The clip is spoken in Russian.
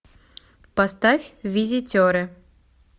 поставь визитеры